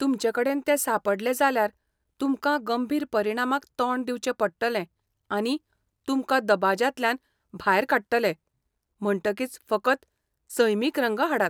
तुमचेकडेन ते सांपडले जाल्यार तुमकां गंभीर परिणामांक तोंड दिवचें पडटलें आनी तुमकां दबाज्यांतल्यान भायर काडटले, म्हणटकीच फकत सैमीक रंग हाडात.